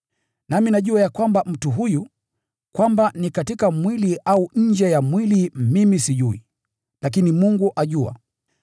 Nami najua ya kwamba mtu huyu, kwamba ni katika mwili au nje ya mwili mimi sijui, lakini Mungu ajua,